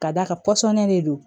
Ka d'a kan pɔsɔni de don